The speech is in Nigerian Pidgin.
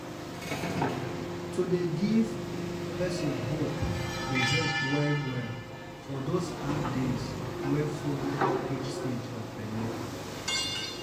to dey give person hope dey help well-well for those hard days wey follow each stage of belle.